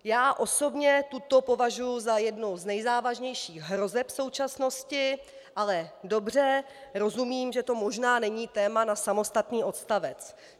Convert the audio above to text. Já osobně tuto považuji za jednu z nejzávažnějších hrozeb současnosti, ale dobře, rozumím, že to možná není téma na samostatný odstavec.